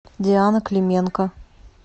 диана клименко